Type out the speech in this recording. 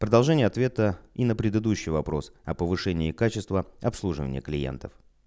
продолжение ответа и на предыдущий вопрос о повышении качества обслуживания клиентов